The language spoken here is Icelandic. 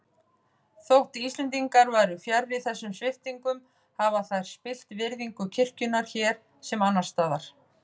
Þótt Íslendingar væru fjarri þessum sviptingum hafa þær spillt virðingu kirkjunnar hér sem annars staðar.